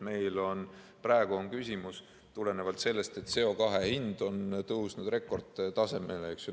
Meil praegu on küsimus tulenevalt sellest, et CO2 hind on tõusnud rekordtasemele.